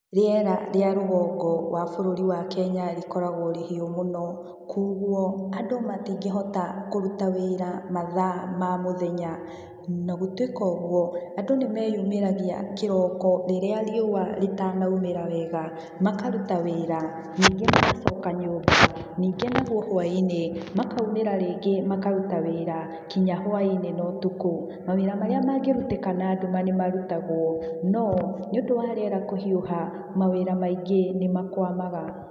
Rĩera rĩa rũgongo wa bũruri wa Kenya rĩkoragwo rĩhiũ mũno, koguo andũ matingĩhota kũrũta wĩra mathaa ma mũthenya na gũtũika ũguo andũ nĩmeyũmĩragia kĩroko rĩrĩa riũwa rĩtanaumĩra wega makaruta wĩra ningĩ magacoka nyũmba, ningĩ naguo hwaĩ-inĩ makaumĩra rĩngĩ makaruta wĩra kinya hwainĩ no tukũ, mawĩra marĩa mangĩrutĩka na nduma nĩmarutagwo no nĩũndũ wa riera kũhiũha mawĩra maingĩ nĩmakwamaga.